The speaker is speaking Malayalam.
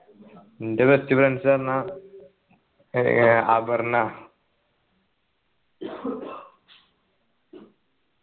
ൻ്റെ best friends പറഞ്ഞാ ഏർ അപർണ